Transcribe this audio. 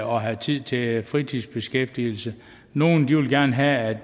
og have tid til fritidsbeskæftigelser nogle vil gerne have